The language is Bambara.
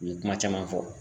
U ye kuma caman fɔ.